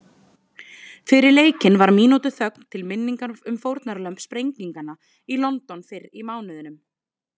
Fyrir leikinn var mínútu þögn til minningar um fórnarlömb sprenginganna í London fyrr í mánuðinum.